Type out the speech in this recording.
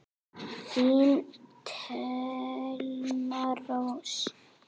Þín Thelma Rós.